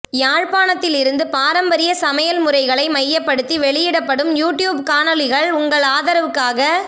யாழ்ப்பாணத்திலிருந்து பாரம்பரிய சமையல் முறைகளை மையப்படுத்தி வெளியிடப்படும் யூடூப் காணொளிகள் உங்கள்ஆதரவுக்காக